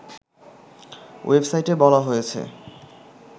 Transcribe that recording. ওয়েবাসইটে বলা হয়েছে